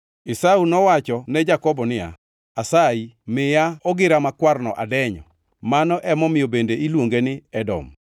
Esau nowacho ne Jakobo niya, “Asayi miya ogira makwarno adenyo!” (Mano emomiyo bende iluonge ni Edom.)